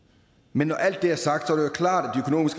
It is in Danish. men når alt det er sagt jo klart